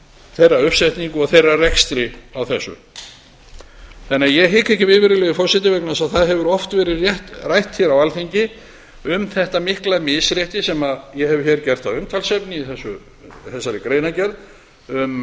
þeirra uppsetningu og þeirra rekstri á þessu ég hika því ekki við virðulegi forseti vegna þess að það hefur oft verið rætt hér á alþingi um þetta mikla misrétti sem ég hef hér gert að umtalsefni í þessari greinargerð um